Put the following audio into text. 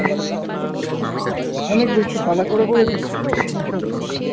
অনেক বেশি, পালা করে করে দিচ্ছি তো বিশাল সংখ্যা।